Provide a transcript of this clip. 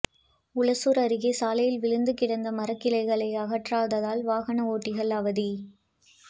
ஊசூர் அருகே சாலையில் விழுந்து கிடந்த மரக்கிளையை அகற்றாததால் வாகன ஓட்டிகள் அவதி